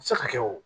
Se ka kɛ o